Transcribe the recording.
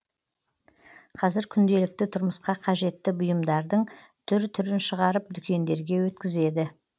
қазір күнделікті тұрмысқа қажетті бұйымдардың түр түрін шығарып дүкендерге өткізеді